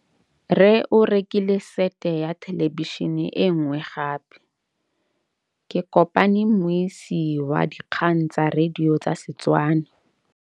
Rre o rekile sete ya thêlêbišênê e nngwe gape. Ke kopane mmuisi w dikgang tsa radio tsa Setswana.